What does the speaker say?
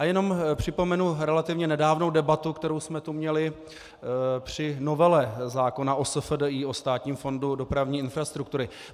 A jenom připomenu relativně nedávnou debatu, kterou jsme tu měli při novele zákona o SFDI, o Státním fondu dopravní infrastruktury.